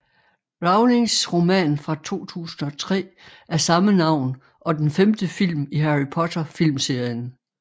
Rowlings roman fra 2003 af samme navn og den femte film i Harry Potter filmserien